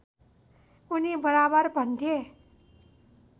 उनी बराबर भन्थे